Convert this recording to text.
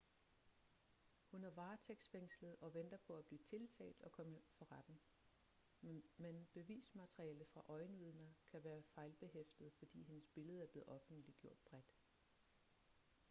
hun er varetægtsfængslet og venter på at blive tiltalt og komme for retten men bevismateriale fra øjenvidner kan være fejlbehæftet fordi hendes billede er blevet offentliggjort bredt